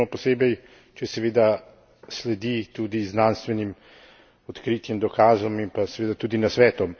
pomembno, posebej če seveda sledi tudi znanstvenim odkritjem, dokazom in pa seveda tudi nasvetom.